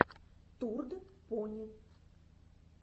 турд пони